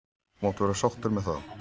. þú mátt vera sáttur með það.